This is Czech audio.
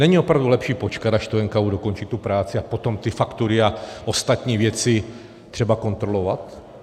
Není opravdu lepší počkat, až to NKÚ dokončí, tu práci, a potom ty faktury a ostatní věci třeba kontrolovat?